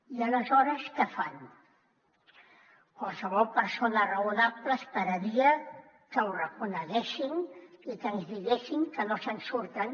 i aleshores què fan qualsevol persona raonable esperaria que ho reconeguessin i que ens diguessin que no se’n surten